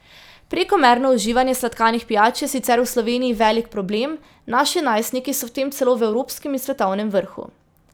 Prekomerno uživanje sladkanih pijač je sicer v Sloveniji velik problem, naši najstniki so v tem celo v evropskem in svetovnem vrhu.